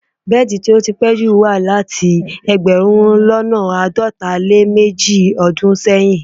Bẹ́ẹ̀di tó pẹ̀ jú tí wà láti ẹgbẹ̀rún lọ́nà àádọta lé ní méje ọdún sẹ́yìn.